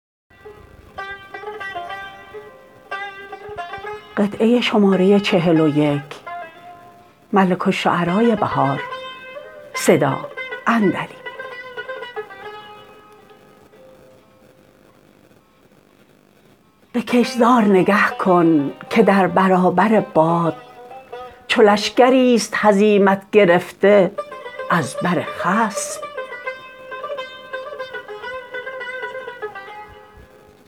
به کشتزار نگه کن که در برابر باد چو لشکریست هزیمت گرفته از بر خصم